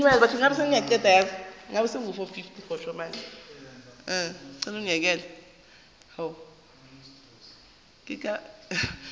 ba khansele ya setšhaba ya